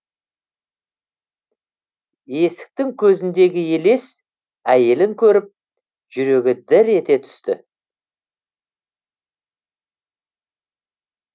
есіктің көзіндегі елес әйелін көріп жүрегі дір ете түсті